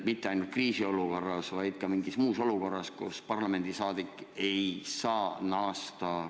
Mitte ainult kriisiolukorras, vaid ka mingis muus olukorras, kus parlamendiliige ei saa koju naasta.